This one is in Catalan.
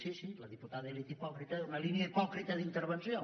sí sí la diputada li ha dit hipòcrita una línia hipòcrita d’intervenció